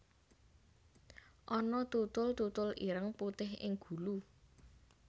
Ana tutul tutul ireng putih ing gulu